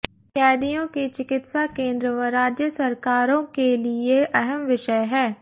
कैदियों की चिकित्सा केंद्र व राज्य सरकारों के लिए अहम विषय है